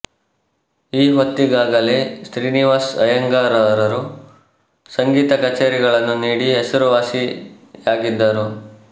ಈ ಹೊತ್ತಿಗಾಗಲೇ ಶ್ರೀನಿವಾಸ ಐಯ್ಯಂಗಾರರು ಸಂಗೀತ ಕಚೇರಿಗಳನ್ನು ನೀಡಿ ಹೆಸರುವಾಸಿಯಾಗಿದ್ದರು